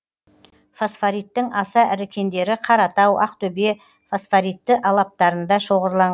фосфориттің аса ірі кендері қаратау ақтөбе фосфоритті алаптарында шоғырланған